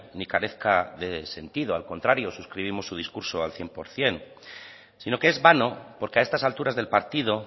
ni carezca de sentido al contrario suscribimos su discurso al cien por ciento si no que es vano porque a estas alturas del partido